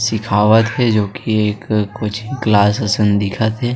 सिखवत हे जो की एक कोचिंग क्लास मे दिखत थे।